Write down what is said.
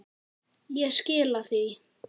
Ég skila því.